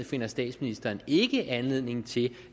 finder statsministeren ikke anledning til